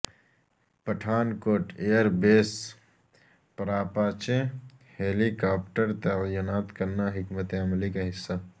پٹھان کوٹ air base پراپاچے helicopter تعینات کرنا حکمت عملی کا حصہ